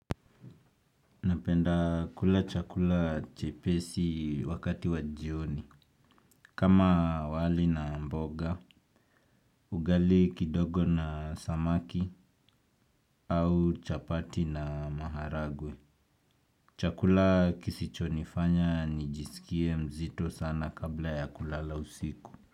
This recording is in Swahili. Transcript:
Napenda kula chakula chepesi wakati wa jioni. Kama wali na mboga, ugali kidogo na samaki au chapati na maharagwe. Chakula kisichonifanya nijisikie mzito sana kabla ya kulala usiku.